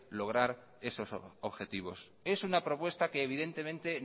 lograr esos objetivos es una propuesta que evidentemente